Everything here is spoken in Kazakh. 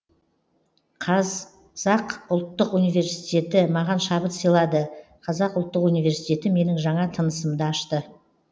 қазақ ұлттық унивеситеті маған шабыт сыйлады қазақ ұлттық университеті менің жаңа тынысымды ашты